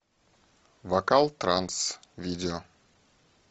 вокал транс видео